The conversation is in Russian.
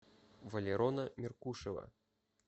валерона меркушева